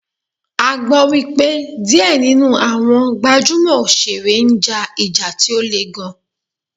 Agbo wípé diẹ ninu awọn gbajumo osere n ja ìjà ti o le gan.